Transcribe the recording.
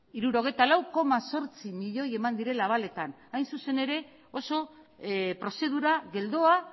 hirurogeita lau koma zortzi milioi eman direla abaletan hain zuzen ere oso prozedura geldoa